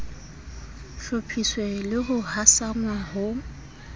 hlophiswe le ho hasanngwa ho